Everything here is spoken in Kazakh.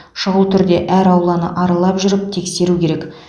шұғыл түрде әр ауланы аралап жүріп тексеру керек